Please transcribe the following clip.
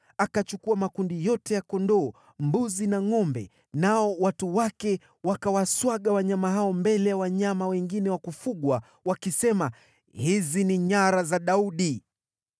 Akachukua makundi yote ya kondoo, mbuzi na ngʼombe, nao watu wake wakawaswaga wanyama hao mbele ya wanyama wengine wa kufugwa, wakisema, “Hizi ni nyara za Daudi.”